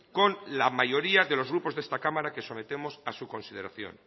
con la mayoría de los grupos de esta cámara que sometemos a su consideración